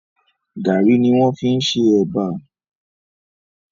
Gàárì ni wọ́n fi ṣe Ẹ̀bà